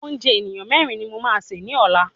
Oúnjẹ ènìyàn mẹ́rin ni mo máa sè ni ọlá.